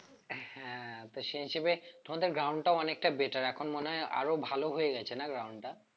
হ্যাঁ তো সেই হিসেবে তোমাদের ground টা অনেকটা better এখন মনে হয় আরো ভালো হয়ে গেছে না ground টা?